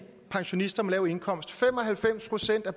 pensionister med lav indkomst fem og halvfems procent af